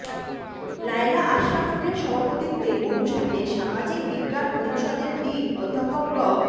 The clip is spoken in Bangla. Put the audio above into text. লায়লা আশরাফুনের সভাপতিত্বে অনুষ্ঠানে সামাজিক বিজ্ঞান অনুষদের ডিন অধ্যাপক ড